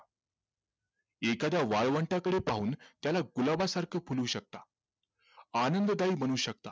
एखाद्या वाळवंटाकडे पाहून त्याला गुलाबासारखं फुलवू शकता आनंददायी बनवू शकता